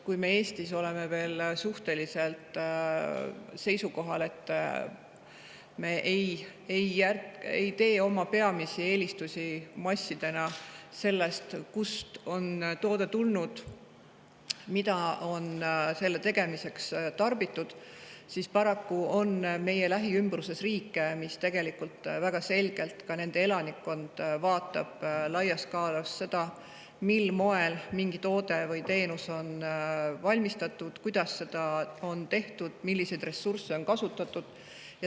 Kui me Eestis oleme veel suhteliselt seisukohal, et meie peamised eelistused ei lähtu massiliselt sellest, kust toode on tulnud, mida on selle tegemiseks, siis paraku on meie lähiümbruses riike, kus väga selgelt vaadatakse – ka nende elanikkond vaatab – laias skaalas seda, mil moel mingi toode või teenus on valmistatud, kuidas seda on tehtud ja milliseid ressursse on kasutatud.